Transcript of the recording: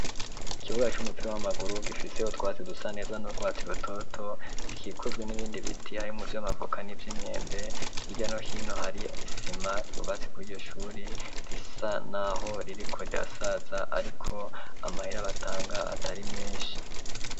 Ikibuga c'umupira w'amaguru gifiseho utwatsi dusa neza n'urwatsi rutoto gikikujwe n'ibindi biti harimwo ivyamavoka n'ivyimyembe hirya no hino hari isima yubatse kwiryo shuri risa naho ririko rirasaza ariko amahere batanga atari meshi.